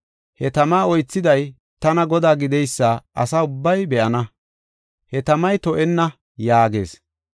He tama oythiday tana Godaa gideysa asa ubbay be7ana. He tamay to7enna’ ” yaagees.